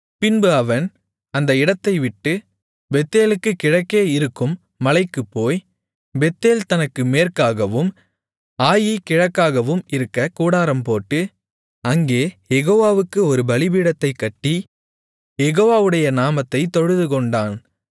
பின்பு அவன் அந்த இடத்தைவிட்டு பெத்தேலுக்குக் கிழக்கே இருக்கும் மலைக்குப் போய் பெத்தேல் தனக்கு மேற்காகவும் ஆயீ கிழக்காகவும் இருக்கக் கூடாரம்போட்டு அங்கே யெகோவாவுக்கு ஒரு பலிபீடத்தைக் கட்டி யெகோவாவுடைய நாமத்தைத் தொழுதுகொண்டான்